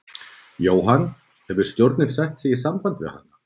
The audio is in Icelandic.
Jóhann: Hefur stjórnin sett sig í samband við hana?